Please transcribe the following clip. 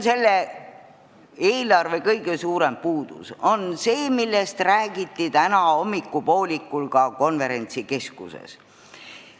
Selle eelarve kõige suurem puudus on see, millest räägiti täna hommikupoolikul ka konverentsikeskuses.